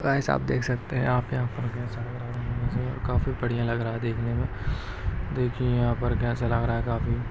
भाईसाब आप देख सकते है यहाँ पे आप यहाँ पर कैसा लग रहा है मुजे काफी बढ़िया लग रहा है देखने मे देखिए यहाँ पर कैसा लग रहा है काफी--